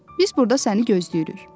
Biz burda səni gözləyirik.